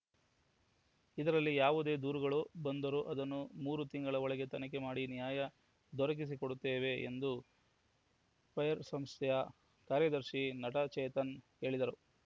ಇದರಲ್ಲಿ ಯಾವುದೇ ದೂರುಗಳು ಬಂದರೂ ಅದನ್ನು ಮೂರು ತಿಂಗಳ ಒಳಗೆ ತನಿಖೆ ಮಾಡಿ ನ್ಯಾಯ ದೊರಕಿಸಿ ಕೊಡುತ್ತೇವೆ ಎಂದು ಫೈರ್‌ ಸಂಸ್ಥೆಯ ಕಾರ್ಯದರ್ಶಿ ನಟ ಚೇತನ್‌ ಹೇಳಿದರು